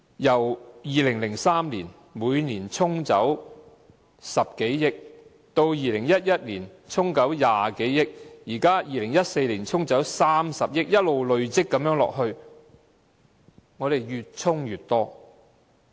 由2003年起，每年對沖10多億元 ，2011 年對沖20多億元 ，2014 年對沖30億元，越"沖"越多。